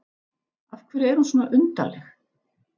Af hverju er hún svona undarleg?